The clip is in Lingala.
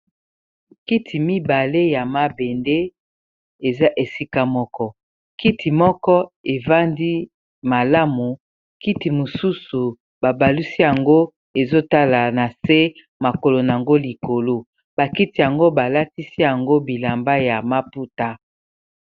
kiti mibale ya mabende eza esika moko kiti moko evandi malamu kiti mosusu babalusi yango ezotala na se makolo nango likolo bakiti yango balakisi yango bilamba ya maputa